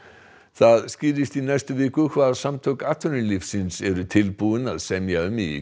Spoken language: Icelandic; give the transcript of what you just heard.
það skýrist í næstu viku hvað Samtök atvinnulífsins eru tilbúin að semja um í